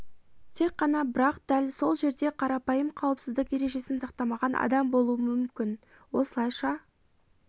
тек қана бірақ дәл сол жерде қарапайым қауіпсіздік ережесін сақтамаған адам болу мүмкін осылайша